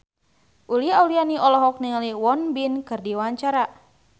Uli Auliani olohok ningali Won Bin keur diwawancara